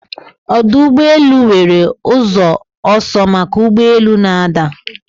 Ọdụ ụgbọ elu nwere ụzọ ọsọ maka ụgbọ elu na-ada